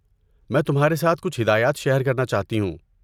میں تمہارے ساتھ کچھ ہدایات شیئر کرنا چاہتی ہوں۔